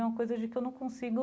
É uma coisa de que eu não consigo